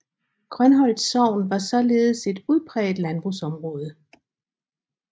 Grønholt sogn var således et udpræget landbrugsområde